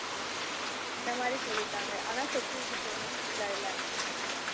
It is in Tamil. இந்த மாதிரி சொல்லிட்டாங்க ஆனா security payment full இல்லை